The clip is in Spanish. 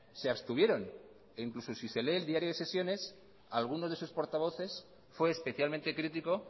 se abstuvieron e incluso si se lee el diario de sesiones alguno de sus portavoces fue especialmente critico